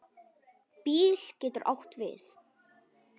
BÍL getur átt við